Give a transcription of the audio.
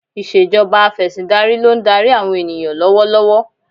Ìṣèjọba Afẹ̀sìndarí ló ń darí àwọn ènìyàn lọ́wọ́ lọ́wọ́